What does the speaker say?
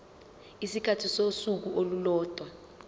isikhathi sosuku olulodwa